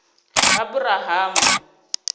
aburahamu